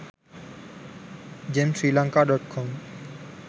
gem sri lanka.com